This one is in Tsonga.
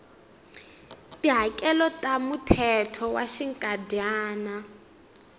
tihakelo ta muthelo wa xinkadyana